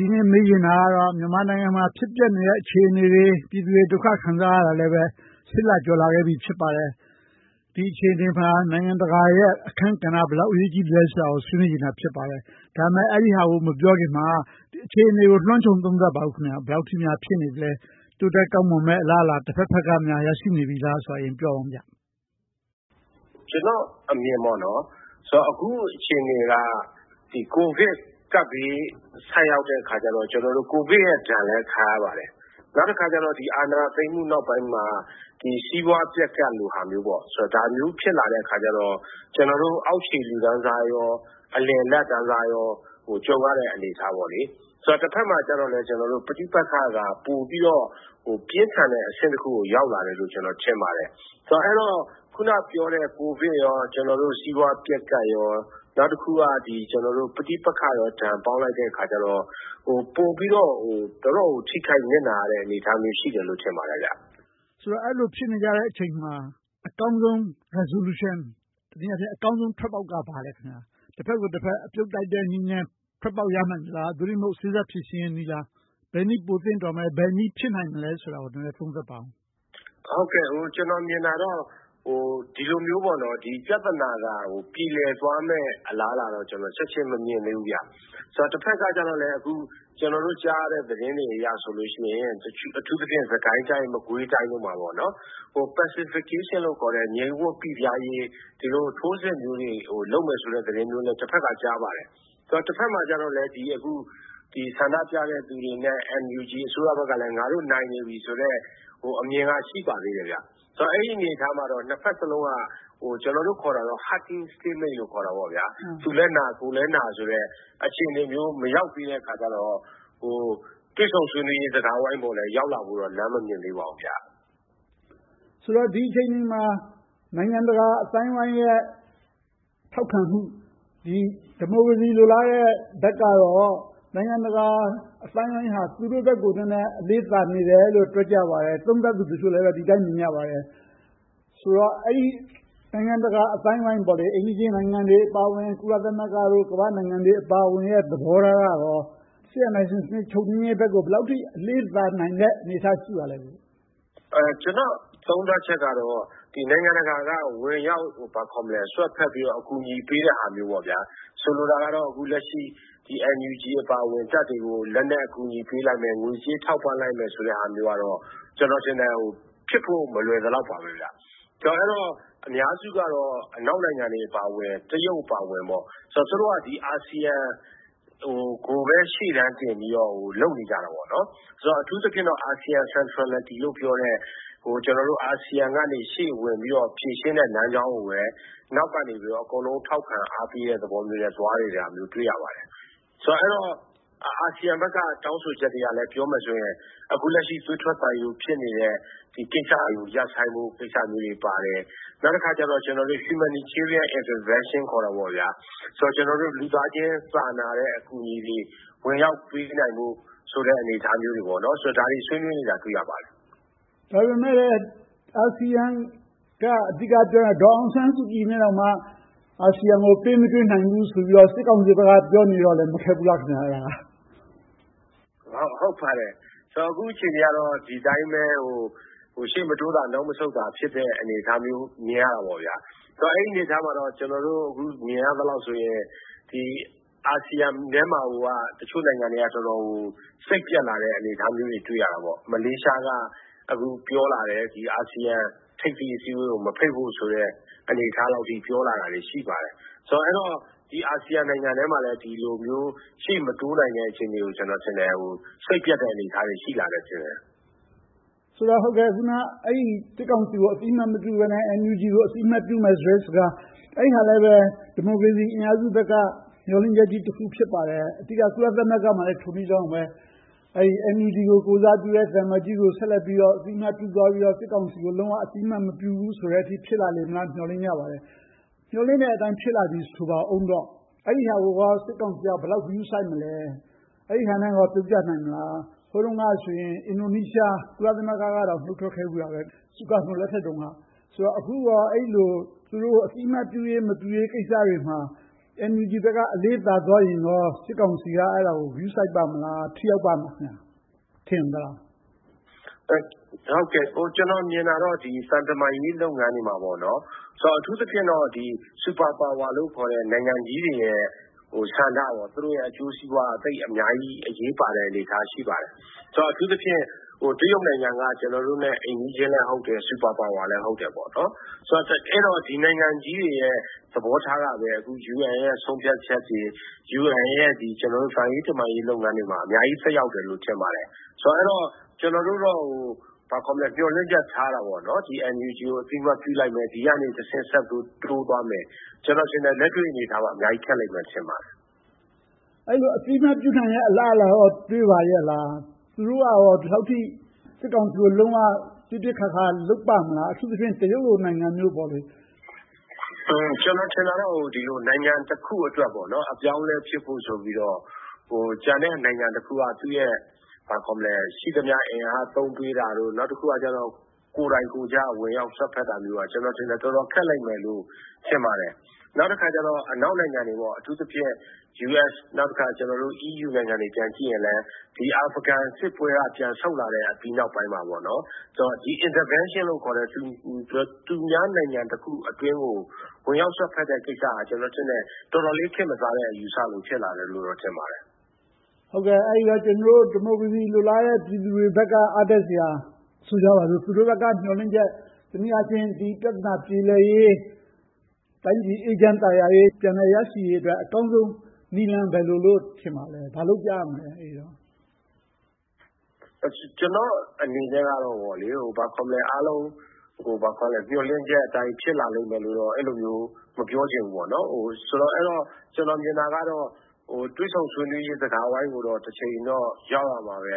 ဒီနေ့မေးချင်တာကတော့ မြန်မာနိုင်ငံမှာ ဖြစ်ပျက်နေတဲ့ အခြေအနေတွေ၊ ပြည်သူတွေဒုက္ခခံစားရတာလဲ လ ကျော်လာခဲ့ပြီ ဖြစ်ပါတယ်။ ဒီအခြေအနေမှာ နိုင်ငံတကာရဲ့ အခန်းကဏ္ဍ ဘယ်လောက်အရေးကြီးသလဲဆိုတာကို ဆွေးနွေးချင်တာ ဖြစ်ပါတယ်။ ဒါပေမဲ့ အဲဒီဟာကို မပြောခင်မှာ အခြေအနေကို လွှမ်းခြုံသုံးသပ်ပေးပါအုံး။ ဘယ်လောက်အထိများ ဖြစ်နေပြီလဲ။ တိုးတက်ကောင်းမွန်မယ့် အလားအလာ၊ တဘက်ဘက်က ရရှိနေပြီလားဆိုတာကို ပြောပြပါ။ ကျနော့်အမြင် အခုအခြေအနေက ကိုဗစ်ကပ်ဘေး ဆိုက်ရောက်တဲ့အခါကြတော့ ကိုဗစ်ရဲ့ဒဏ်လည်း ခံရပါတယ်။ နောက်တခါကြတော့ အာဏာသိမ်းမှုနောက်ပိုင်းမှာ စီးပွားပျက်ကပ်လိုဟာမျိုး ဖြစ်လာတော့ ကျနော်တို့အောက်ခြေလူတန်းစားနဲ့ အလယ်အလတ်တန်းစားတွေလည်း ကြုံရတဲ့အနေအထား။ တဘက်မှာလဲ ပဋိပက္ခက ပိုပြီးတော့ ပြင်းထန်တဲ့အဆင့်တခုကို ရောက်လာတယ်လို့ ထင်ပါတယ်။ အဲဒီတော့ အခုနပြောတဲ့ ကိုဗစ်၊ စီးပွားပျက်ကပ်တွေနဲ့ ပဋိပက္ခတွေကို ပေါင်းလိုက်တဲ့အခါကြတော့ ပိုပြီးတော့ တော်တော့်ကို ထိခိုက်နစ်နာတဲ့ အနေအထားရှိတယ်လို့ ထင်ပါတယ်။ ဆိုတော့ အဲဒီလိုဖြစ်နေကြတဲ့အချိန်မှာ အကောင်းဆုံး resolution တနည်းအားဖြင့် အကောင်းဆုံးထွက်ပေါက်က ဘာလဲ။ တဘက်ကိုတဘက် အပြုတ်တိုက်တဲ့နည်းနဲ့ ထွက်ပေါက်ရနိုင်သလား။ သို့တည်းမဟုတ် စေ့စပ်ဖြေရှင်းနည်းလား။ ဘယ်နည်းပိုသင့်တော်မလဲ။ ဘယ်နည်းဖြစ်နိုင်မလဲဆိုတာကို နည်းနည်းသုံးသပ်ပါအုံး။ ကျနော်မြင်တာကတော့ ဒီလိုမျိုးပြဿနာက ပြေလည်သွားမယ့် အလားအလာတော့ ချက်ချင်းမမြင်သေးဘူး။ တဘက်ကကြတော့ ကျနော်တို့ကြားရတဲ့ သတင်းတွေအရဆိုရင် အထူးသဖြင့် စစ်ကိုင်းတိုင်း၊ မကွေးတိုင်းတို့မှာ pacification လို့ခေါ်တဲ့ ငြိမ်ဝပ်ပိပြားရေး ထိုးစစ်မျိုးတွေကို လုပ်မယ်ဆိုတဲ့ သတင်းမျိုးလည်း တဘက်က ကြားရပါတယ်။ တဘက်မှာကြတော့လဲ ဆန္ဒပြတဲ့လူတွေနဲ့ NUG ဘက်ကလဲ ငါတို့နိုင်နေတယ်ဆိုတဲ့ အမြင်ကလည်း ရှိနေပါသေးတယ်။ ဆိုတော့ အဲဒီအနေအထားမှာတော့ နှစ်ဘက်စလုံးက ကျနော်တို့ခေါ်တာကတော့ hugging scrimmage သူလည်းနာ ကိုယ်လည်းနာ အခြေအနေမျိုး မရောက်သေးတဲ့အခါကြတော့ တွေ့ဆုံဆွေးနွေးရေး စကားဝိုင်းပေါ် ရောက်လာဖို့လည်း လမ်းမမြင်သေးပါဘူး။ ဆိုတော့ ဒီအခြေအနေတွေမှာ နိုင်ငံတကာအသိုင်းအဝိုင်းရဲ့ ထောက်ခံမှု။ ဒီမိုကရေစီ လိုလားကြတဲ့ဘက်ကတော့ နိုင်ငံတကာအသိုင်းအဝိုင်းက သူတို့ဘက်ကို အလေးသာနေတယ်လို့ ပြောကြပါတယ်။ သုံးသပ်သူတချို့လည်း ဒီအတိုင်းမြင်ကြပါတယ်။ ဆိုတော့ နိုင်ငံတကာအသိုင်းအဝိုင်း အိမ်နီးချင်းနိုင်ငံတွေအပါအဝင်၊ ကုလသမဂ္ဂအပါအဝင် ကမ္ဘာ့နိုင်ငံတွေသဘောထားက စစ်အာဏာရှင် ချုပ်ငြိမ်းရေးဘက်ကို ဘယ်လောက်အထိ အလေးသာနိုင်တဲ့ အနေအထား ရှိပါလဲ။ ကျနော့်သုံးသပ်ချက်ကတော့ နိုင်ငံတကာက ဝင်ရောက်စွက်ဖက်ပြီးတော့ အကူအညီပေးတာမျိုး။ ဆိုလိုတာကတော့ အခုလက်ရှိ NUG အပါအဝင် တပ်တွေကို လက်နက်အကူအညီပေးလိုက်မယ်၊ ငွေကြေးထောက်ပံ့လိုက်မယ်ဆိုတဲ့ဟာမျိုးကတော့ ကျနော်ထင်တယ် ဖြစ်ဖို့မလွယ်သလောက်ပါပဲ။ အဲဒီတော့ အများစုကတော့ အနောက်နိုင်ငံတွေအပါအဝင်၊ တရုတ်အပါအဝင် သူတို့က အာဆီယံကိုပဲ ရှေ့တန်းတင်ပြီးတော့ လုပ်နေကြတာပေါ့။ အထူးသဖြင့်တော့ ASEAN Centrality လို့ပြောတဲ့ အာဆီယံကနေ ရှေ့ဝင်ပြီးတော့ ဖြေရှင်းတဲ့လမ်းကြောင်းကိုပဲ နောက်ကနေ အကုန်လုံးထောက်ခံအားပေးတဲ့ သဘောမျိုးနဲ့ သွားနေတာကိုလည်း တွေ့ရတယ်။ အဲဒီတော့ အာဆီယံဘက်က တောင်းဆိုချက်တွေကလဲ အခုလက်ရှိ သွေးထွက်သံယိုးဖြစ်နေတဲ့ ကိစ္စတွေကို ရပ်ဆိုင်းဖို့မျိုးတွေပါတယ်။ နောက်တခါ Humanitarian Interventio လို့ခေါ်တဲ့ လူသားချင်းစာနာတဲ့ အကူအညီတွေ ဝင်ရောက်ပေးနိုင်ဖို့ဆိုတဲ့ အနေအထားတွေ။ ဒါတွေဆွေးနွေးနေတာကို တွေ့ရပါတယ်။ ဒါပေမဲ့ အာဆီယံက အဓိကပြောတာ ဒေါ်အောင်ဆန်းစုကြည်နဲ့တောင်မှ အာဆီယံကို ပေးမတွေ့နိုင်ဘူးလို့ စစ်ကောင်စီဘက်က ပြောနေတော့ မခက်ဘူးလား။ ဟုတ်ပါတယ်။ အခုအခြေအနေကတော့ ဒီအတိုင်းပဲ ရှေ့မတိုးသာ နောက်မဆုတ်သာ ဖြစ်နေတဲ့ အနေအထားမျိုး မြင်ရတာပေါ့။ အဲဒီအနေအထားမှာတော့ ကျနော်တို့ အခုမြင်ရသလောက်ဆိုရင် အာဆီယံထဲမှာကိုက တချို့နိုင်ငံတွေက တော်တော်ကို စိတ်ပျက်လာတဲ့ အနေအထားမျိုးတွေ တွေ့ရတယ်။ မလေးရှားက အခုပြောလာတယ်။ အာဆီယံထိပ်သီးအစည်းအဝေးကို မဖိတ်ဖို့ဆိုတဲ့ ပြောတာတွေ ရှိလာတယ်ဆိုတော့ အာဆီယံနိုင်ငံတွေထဲမှာလဲ ဒီလိုမျိုး ရှေ့မတိုးနိုင်တဲ့ အခြေအနေတွေကို စိတ်ပျက်တဲ့ အနေအထား ရှိလာနေပါတယ်။ အခုန စစ်ကောင်စီကို အသိအမှတ်မပြုဘဲနဲ့ NUG ကို အသိအမှတ်ပြုမယ်ဆိုတဲ့ စကား။ အဲဒါလဲပဲ ဒီမိုကရေစီအင်အားစုဘက်က မျှော်လင့်ချက်ကြီးတခု ဖြစ်ပါတယ်။ အဓိက ကုလသမဂ္ဂမှာလည်း ထိုနည်းလည်းကောင်းပါပဲ။ NUG ကို ကိုယ်စားပြုတဲ့ သံအမတ်ကြီးကို အသိအမှတ်ပြုပြီးတော့၊ စစ်ကောင်စီကို လုံးဝအသိအမှတ်မပြုဘူးဆိုတဲ့အထိ ဖြစ်လာမလားလို့ မျှော်လင့်နေကြပါတယ်။ မျှော်လင့်ချက်အတိုင်း ဖြစ်လာတယ်ဆိုပါအုံး။ အဲဒါကိုကော စစ်ကောင်စီက ဘယ်လောက်ဂရုစိုက်မလဲ။ အဲဒီဟာနဲ့ ပြောပြနိုင်မလား။ ဟိုတုန်းကဆိုရင် အင်ဒိုနီးရှား၊ ကုလသမဂ္ဂကတောင် နှုတ်ထွက်ခဲ့ဖူးတာပဲ။ ဆိုဟာတိုလက်ထက်တုန်းက။ အခုကော အဲဒီလို သူတို့ကို အသိအမှတ်ပြုရေး၊ မပြုရေးကိစ္စတွေမှာ NUG ဘက်က အလေးသာသွားရင်ကော စစ်ကောင်စီက အဲဒါကို ဂရုစိုက်ပါ့မလား။ ထိရောက်ပါ့မလား။ ထင်ပါသလား။ ကျနော်မြင်တာကတော့ သံတမန်ရေးလုပ်ငန်းတွေမှာတော့ အထူးသဖြင့်တော့ Superpower လို့ခေါ်တဲ့ နိုင်ငံကြီးတွေရဲ့ ဆန္ဒ။ သူတို့ရဲ့ အကျိုးစီးပွားက အများကြီးအရေးပါတဲ့ အနေအထား ရှိပါတယ်။ အထူးသဖြင့် တရုတ်နိုင်ငံက ကျနော်တို့နဲ့ အိမ်နီးချင်းလည်းဟုတ်တယ်။ Superpower လည်း ဟုတ်တယ်။ အဲဒီတော့ ဒီနိုင်ငံကြီးတွေရဲ့ သဘောထားကပဲ အခု UN ရဲ့ ဆုံးဖြတ်ချက်တွေ၊ UN ရဲ့ သံရေးတမန်ရေး လုပ်ငန်းတွေမှာ အများကြီးသက်ရောက်တယ်လို့ ထင်ပါတယ်။ အဲဒီတော့ ကျနော်တို့တော့ မျှော်လင့်ချက်ထားတာပေါ့။ NUG ကို အသိအမှတ်ပြုလိုက်မယ်။ ဒီကနေဆက်ပြီးတော့ တိုးသွားမယ်။ ကျနော်ထင်တယ် လက်တွေ့အနေအထားမှာ အများကြီးခက်လိမ့်မယ် ထင်ပါတယ်။ အဲဒီတော့ အသိအမှတ်ပြုနိုင်တဲ့ အလားအလာကော တွေ့ပါရဲ့လား။ သူတို့ကကော ဒီလောက်အထိ စစ်ကောင်စီကို လုံးဝပြစ်ပြစ်ခါခါ လုပ်ပါ့မလား။ အထူးသဖြင့် တရုတ်လို နိုင်ငံမျိုး။ ကျနော်ထင်တာကတော့ နိုင်ငံတခု အပြောင်းအလဲ ဖြစ်ဖို့ဆိုပြီးတော့ ကျန်တဲ့နိုင်ငံတခုက သူ့ရဲ့ ရှိသမျှအင်အားသုံးပြီးတာ။ နောက်တခါ ကိုယ်တိုင်ကိုယ်ကျ ဝင်ရောက်စွက်ဖက်တာတို့က ကျနော်ထင်တယ် တော်တော်ခက်လိမ့်မယ်လို့ ထင်ပါတယ်။ နောက်တခါ အနောက်နိုင်ငံတွေ အထူးသဖြင့် US, EU နိုင်ငံတွေကို ပြန်ကြည့်ရင် အာဖရီဂန်စစ်ပွဲက ပြန်ဆုတ်လာတဲ့နောက်ပိုင်းမှာ Intervention လို့ခေါ်တဲ့ သူများနိုင်ငံတခုအတွင်းကို ဝင်ရောက်စွက်ဖက်တဲ့ကိစ္စက တော်တော်လေး ခေတ်မစားတော့တဲ့ အယူအဆ ဖြစ်လာတယ်လို့ ထင်ပါတယ်။ အဲဒီတော့ ဒီမိုကရေစီ လိုလားတဲ့ ပြည်သူတွေဘက်က အားတက်စရာ။ ဆိုကြပါစို့ သူတို့ဘက်က မျှော်လင့်ချက်။ တနည်းအားဖြင့် ဒီပြဿနာပြေလည်ရေး။ တိုင်းပြည်အေးချမ်းသာယာရေး ပြန်လည်ရရှိရေးအတွက် အကောင်းဆုံးနည်းလမ်းက ဘယ်လိုဖြစ်မယ်လို့ ထင်ပါသလဲ။ ဘာလုပ်ကြရမလဲ အဲဒီတော့။ ကျနော့်အနေနဲ့တော့ အားလုံးမျှော်လင့်ချက်အတိုင်း ဖြစ်လာလိမ့်မယ်လို့ အဲဒီလိုမျိုး မပြောချင်ဘူး။ ကျနော်မြင်တာကတော့ တွေ့ဆုံဆွေးနွေးရေး စကားဝိုင်းကိုတော့ တချိန်ချိန်တော့ ရောက်ရမှာပဲ။